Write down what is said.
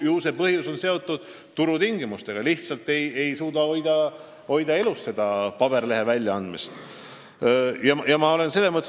Ju on see põhjus seotud turutingimustega, st paberlehe väljaandmist ei suudeta lihtsalt elus hoida.